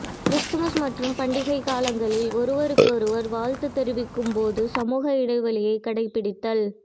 Christmas மற்றும் பண்டிகைக் காலங்களில் ஒருவருக்கொருவர் வாழ்த்துத் தெரிவிக்கும் போது சமூக இடைவௌியைக் கடைப்பிடித்தல்